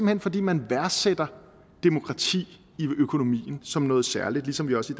hen fordi man værdsætter demokrati i økonomien som noget særligt ligesom vi også